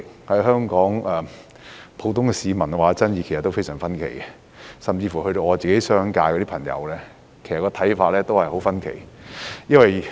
對此，香港普通市民的意見其實都非常分歧，甚至我的商界朋友的看法也很分歧。